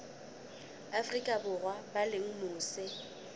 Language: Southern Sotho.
afrika borwa ba leng mose